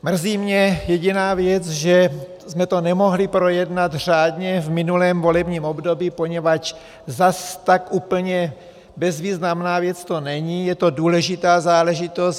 Mrzí mě jediná věc, že jsme to nemohli projednat řádně v minulém volebním období, poněvadž zase tak úplně bezvýznamná věc to není, je to důležitá záležitost.